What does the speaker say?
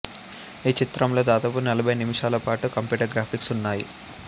ఈ చిత్రంలో దాదాపు నలభై నిమిషాలపాటు కంప్యూటర్ గ్రాఫిక్స్ ఉన్నాయి